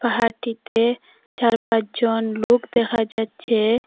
পাহাড়টিতে চার পাঁচজন লোক দেখা যাচ্ছে।